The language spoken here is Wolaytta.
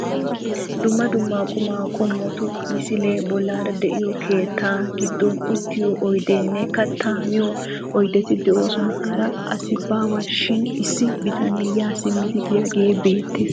Dumma dumma qumaa qommotu misilee bollaara de"iyoo keettaa giddon uttiyo oydeenne kattaa miyo oydeti de'oosona. Hara asi baawashin issi bitanee ya simmidi biyaage beettes.